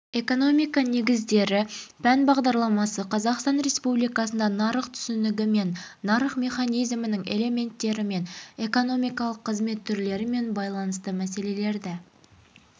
экономика негіздері пән бағдарламасы қазақстан республикасында нарық түсінігімен нарық механизмінің элементтерімен экономикалық қызмет түрлерімен байланысты мәселелерді